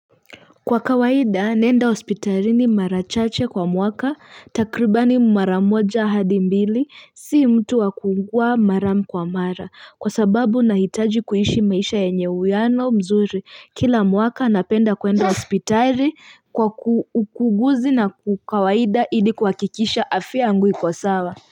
Kwa kawaida naenda hospitalini mara chache kwa mwaka takribani mara moja hadi mbili si mtu wa kuugua mara kwa mara kwa sababu nahitaji kuishi maisha yynye uwiano mzuri kila mwaka napenda kwenda hospitali kwa ukuguzi na kwa kawaida ili kuhakikisha afya yangu iko sawa.